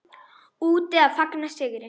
Úti að fagna sigri.